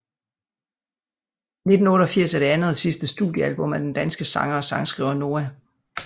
1988 er det andet og sidste studiealbum af den danske sanger og sangskriver Noah